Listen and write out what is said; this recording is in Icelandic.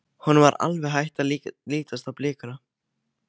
Honum var alveg hætt að lítast á blikuna.